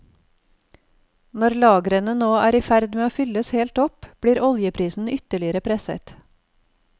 Når lagrene nå er i ferd med å fylles helt opp, blir oljeprisen ytterligere presset.